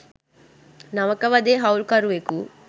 නවක වදේ හවුල්කරුවෙකු